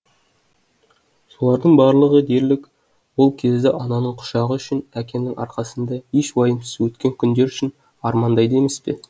солардың барлығы дерлік ол кезді ананың құшағы үшін әкенің арқасында еш уайымсыз өткен күндер үшін армандайды емес пе